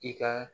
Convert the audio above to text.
I ka